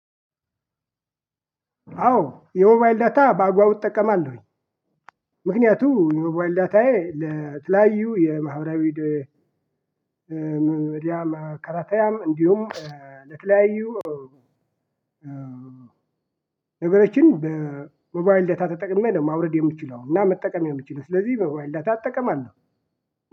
አዎ የሞባይል ዳታ በአግባቡ እጠቀማለሁኝ። ምክንያቱም የሞባይል ዳታዬ ለተለያዩ የማህበራዊ ሚዲያ መከታተያም እንዲሁም ለተለያዩ ነገሮችን በሞባይል ዳታ ተጠቅሜ ደግሞ ማውረድ የምችለው እና መጠቀም የምትችለው ስለዚህ በሞባይል ዳታ እጠቀማለሁ።